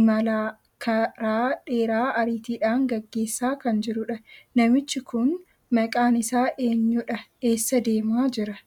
imala karaa dheeraa ariitiidhan geggeessaa kan jiruudha. namichi kun maqaan isaa eenyudha eessa deemaa jira